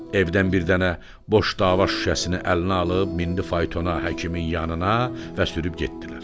Evdən bir dənə boş dava şüşəsini əlinə alıb mindi faytona, həkimin yanına və sürüb getdilər.